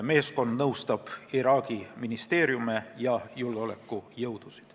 Meeskond nõustab Iraagi ministeeriume ja julgeolekujõudusid.